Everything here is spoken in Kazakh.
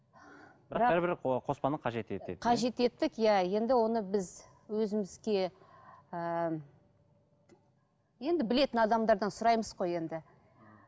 қажет еттік иә енді оны біз өзімізге ыыы енді білетін адамдардан сұраймыз ғой енді